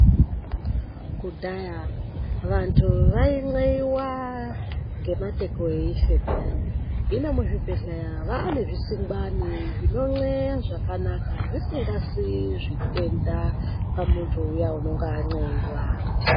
Kudhayaaa vantu vainleyiwa ngemateko eife peyani, hino muzvibhedhleya vaane zvisingwani peyani zvinonleya zvakanaka zvisingasii zvitenda pamuntu uya unenge wanleiwa.